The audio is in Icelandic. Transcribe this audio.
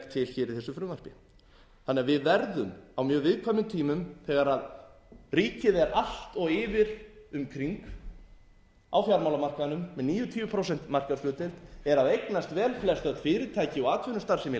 frumvarpi þannig að við verðum á mjög viðkvæmum tímum þegar ríkið er allt of yfir um kring á fjármálamarkaðnum með níutíu prósenta markaðshlutdeild eða að eignast vel flest fyrirtæki og atvinnustarfsemi í